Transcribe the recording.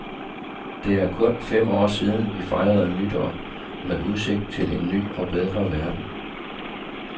Det er kun fem år siden vi fejrede nytår med udsigt til en ny og bedre verden.